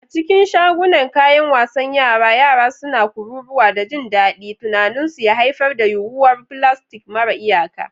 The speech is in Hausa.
A cikin shagunan kayan wasan yara, yara suna kururuwa da jin daɗi, tunaninsu ya haifar da yuwuwar filastik mara iyaka.